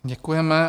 Děkujeme.